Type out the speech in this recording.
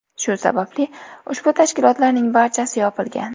Shu sababli ushbu tashkilotlarning barchasi yopilgan.